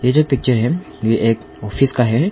ये जो पिक्चर है ये एक ऑफिस का है।